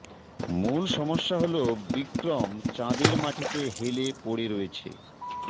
মূল সমস্যা হল বিক্রম চাঁদের মাটিতে হেলে পড়ে রয়েছে